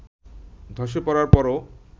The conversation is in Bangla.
ধসে পড়ার পরও